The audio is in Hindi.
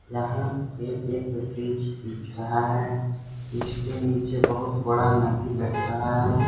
यहां पे एक ब्रिज दिख रहा है जिसके नीचे बहुत बड़ा नदी लग रहा है।